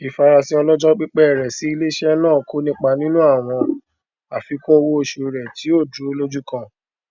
ìfarasìn ọlọjọ pípẹ rẹ sí iléeṣẹ náà kò nipa nínú àwọn àfikún owó oṣù rẹ tí ó dúró lójú kan